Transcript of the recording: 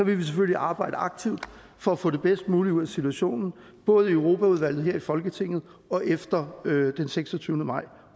vi selvfølgelig arbejde aktivt for at få det bedst mulige ud af situationen både i europaudvalget her i folketinget og efter den seksogtyvende maj